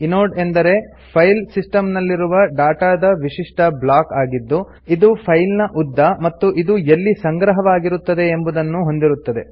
inode ಅಂದರೆ file system ನಲ್ಲಿರುವ ಡಾಟಾದ ವಿಶಿಷ್ಟ ಬ್ಲಾಕ್ ಆಗಿದ್ದು ಇದು ಫೈಲ್ ನ ಉದ್ದ ಮತ್ತು ಇದು ಎಲ್ಲಿ ಸಂಗ್ರಹವಾಗಿರುತ್ತದೆ ಎಂಬುವುದನ್ನು ಹೊಂದಿರುತ್ತದೆ